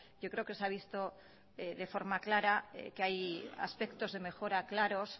yo creo que se ha visto de forma clara que hay aspectos de mejora claros